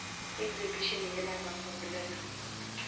exhibition yela ra go bolela